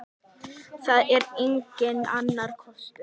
Það er enginn annar kostur.